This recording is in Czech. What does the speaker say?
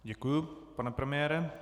Děkuji, pane premiére.